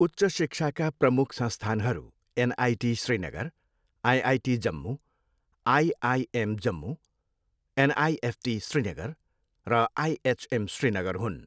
उच्च शिक्षाका प्रमुख संस्थानहरू NIT Srinagar, IIT Jammu, IIM Jammu, NIFT Srinagar, र आइएचएम श्रीनगर हुन्।